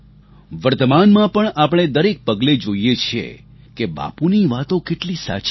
વર્તમાનમાં પણ આપણે દરેક પગલે જોઈએ છીએ કે બાપુની વાતો કેટલી સાચી હતી